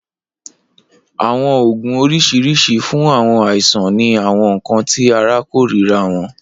Awọn oogun oriṣiriṣi fun awọn aisan ni awọn nkan ti ara korira wọn.